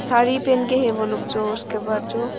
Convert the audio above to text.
साड़ी पहन के है वो लोग जो उसके बाद जो--